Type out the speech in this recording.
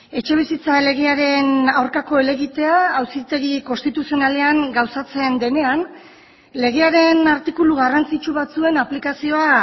etxebizitza legearen aurkako helegitea auzitegi konstituzionalean gauzatzen denean legearen artikulu garrantzitsu batzuen aplikazioa